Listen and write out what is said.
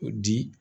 O di